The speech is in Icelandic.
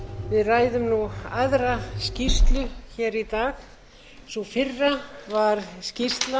við ræðum nú aðra skýrslu hér í dag sú fyrri var skýrsla